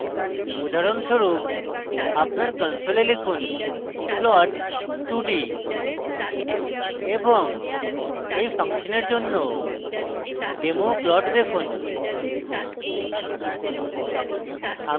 উদাহরণস্বরূপ আপনার console লিখুন plot2d এবং এই ফাংশনের জন্য demo plot দেখুন